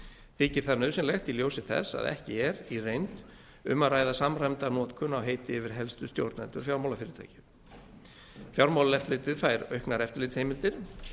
þykir það nauðsynlegt í ljósi þess að ekki er í reynd um að ræða samræmda notkun á heiti yfir helstu stjórnendur fjármálafyrirtækja fjármálaeftirlitið fær auknar eftirlitsheimildir